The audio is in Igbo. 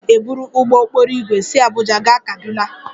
Aga m eburu ụgbọ okporo ígwè si Abuja gaa Kaduna